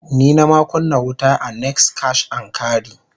Ni nama kunna wuta a "next Cash n carry".